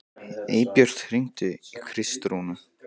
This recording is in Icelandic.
Eybjört, hringdu í Kristrúnu.